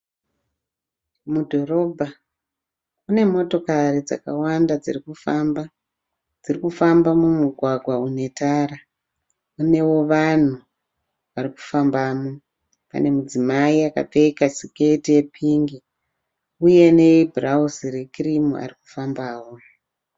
Mudhorobha mune motokati dzakawanda dzirikufamba. Dziri kufamba mumugwagwa une tara. Munewo vanhu varikufambamo. Pane mudzimai akapfeka siketi yepingi uye nebhurawuzi rekirimu arikufambawo.